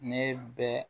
Ne bɛ